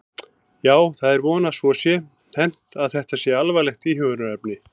Já, það er von að svo sé hermt að þetta sé alvarlegt íhugunarefni.